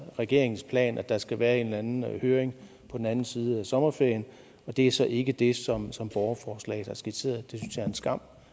regeringens plan at der skal være en eller anden høring på den anden side af sommerferien det er så ikke det som som borgerforslaget har skitseret det synes jeg er en skam